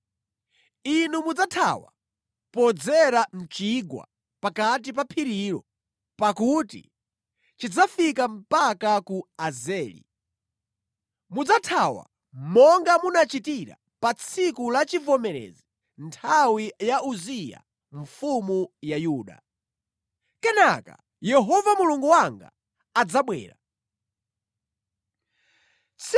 Inu mudzathawa podzera mʼchigwa chapakati pa phirilo, pakuti chidzafika mpaka ku Azeli. Mudzathawa monga munachitira pa tsiku la chivomerezi nthawi ya Uziya mfumu ya Yuda. Kenaka Yehova Mulungu wanga adzabwera, pamodzi ndi oyera ake onse.